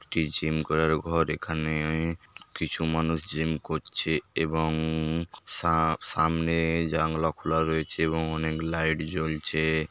একটি জিম করার ঘর এখানে কিছু মানুষ জিম করছে এবং সা-সামনে জানলা খোলা রয়েছে এবং অনেক লাইট জ্বলছে।